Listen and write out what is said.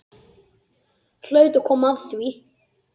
Hlaut að koma að því.